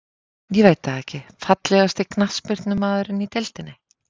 Ég veit það ekki Fallegasti knattspyrnumaðurinn í deildinni?